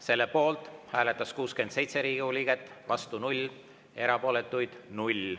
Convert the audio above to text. Selle poolt hääletas 67 Riigikogu liiget, vastu oli 0, erapooletuid 0.